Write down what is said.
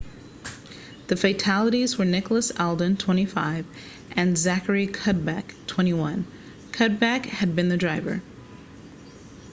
the fatalities were nicholas alden 25 and zachary cuddeback 21 cuddeback had been the driver